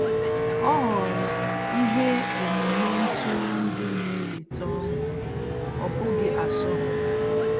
Ọ́ họ̀ọ̀rọ̀ ihe omume ntụrụndụ nà-èwétá ọ́ṅụ́, ọ́ bụ́ghị́ asọmpi.